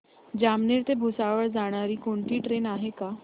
जामनेर ते भुसावळ जाणारी कोणती ट्रेन आहे का